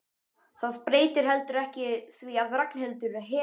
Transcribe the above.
Það breytir heldur ekki því að Ragnhildur hefur